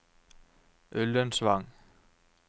Ullensvang